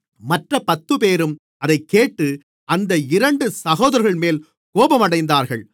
மற்றப் பத்துப்பேரும் அதைக்கேட்டு அந்த இரண்டு சகோதரர்கள்மேல் கோபமடைந்தார்கள்